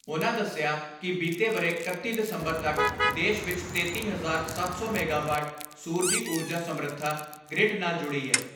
ਉਨ੍ਹਾਂ ਦਸਿਆ ਕਿ ਬੀਤੇ ਵਰ੍ਹੇ ਇਕੱਤੀ ਦਸੰਬਰ ਤੱਕ ਦੇਸ਼ ਵਿਚ ਤੇਤੀ ਹਜ਼ਾਰ ਸੱਤ ਸੌ ਮੈਗਾਵਾਟ ਸੂਰਜੀ ਊਰਜਾ ਸਮਰਥਾ ਗ੍ਰਿਡ ਨਾਲ ਜੁੜੀ ਏ।